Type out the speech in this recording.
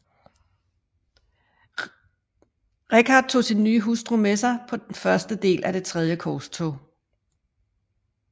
Richard tog sin nye hustru med sig på første del af Det tredje korstog